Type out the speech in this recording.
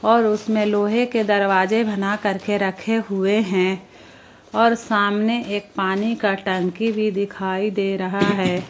और उसमें लोहे के दरवाजे बनाकरके रखे हुए हैं और सामने एक पानी का टंकी दिखाई दे रहा है।